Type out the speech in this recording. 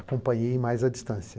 Acompanhei mais à distância.